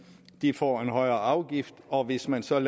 får en højere afgift og hvis man så har